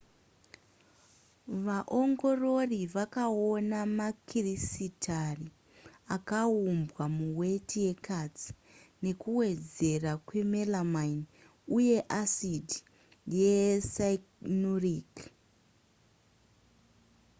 vaongorori vakaona makirisitari akaumbwa muweti yekatsi nekuwedzera kwemelamine uye acid yecyanuric